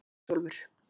Ísólfur